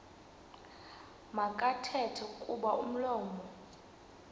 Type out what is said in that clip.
makathethe kuba umlomo